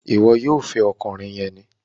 Ìwo yóò fè ọkùnrin yén!